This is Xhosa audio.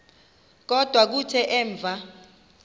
kodwa kuthe emva